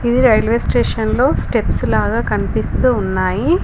ఇది railway station లో steps లాగా కనిపిస్తూ ఉన్నాయి.